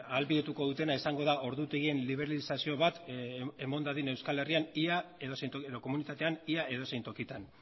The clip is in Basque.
ahalbidetuko dutena izango da ordutegien liberalizazio bat eman dadin euskal herrian edo komunitatean ia edozein tokitan